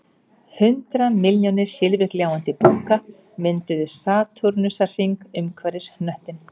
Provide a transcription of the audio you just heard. Hundrað milljónir silfurgljáandi búka mynduðu satúrnusarhring umhverfis hnöttinn